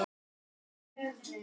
Mér finnst það mjög kúl.